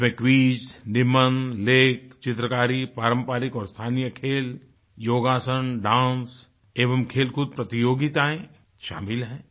इसमें क्विज निबंध लेख चित्रकारी पारंपरिक और स्थानीय खेल योगासन डांस एवं खेलकूद प्रतियोगिताएं शामिल हैं